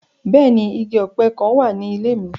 Bẹ́ẹ̀ni, igi ope kan wa ni ile mi.